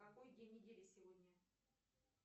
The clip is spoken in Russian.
какой день недели сегодня